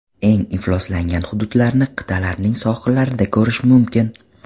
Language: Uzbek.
Eng ifloslangan hududlarni qit’alarning sohillarida ko‘rish mumkin.